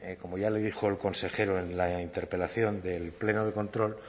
como ya lo dijo el consejero en la interpelación del pleno de control